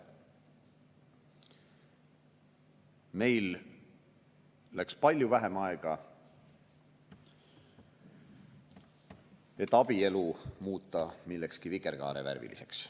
Meil läks palju vähem aega, et muuta abielu millekski vikerkaarevärviliseks.